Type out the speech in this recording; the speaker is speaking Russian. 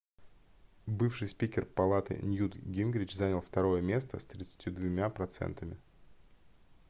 бывший спикер палаты ньют гингрич занял второе место с 32 процентами